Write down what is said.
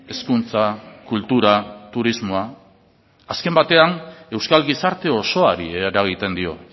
hezkuntza kultura turismoa azken batean euskal gizarte osoari eragiten dio